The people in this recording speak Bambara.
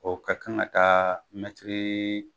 O ka kan ka taa